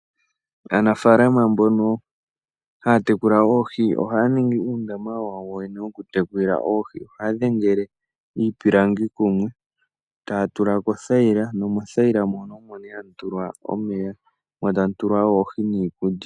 Aanafaalama mbono haya tekula oohi ohaya ningi uundama wawo yene wokutekulila oohi . Ohaya dhengele iipilangi kumwe , taya tulamo othayila. Mothayila mono ohamu tulwa omeya noohi.